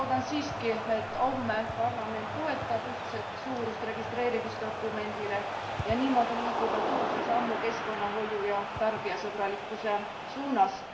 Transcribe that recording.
Ma loodan siiski, et homme parlament toetab ühtset suurust registreerimisdokumendile, niimoodi liigume tõhusa sammu keskkonnahoiu ja tarbijasõbralikkuse suunas.